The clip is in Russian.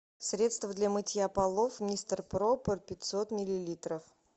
средство для мытья полов мистер пропер пятьсот миллилитров